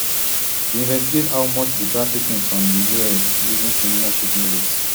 to investigate how much di trafficking from di us using similar shipping routes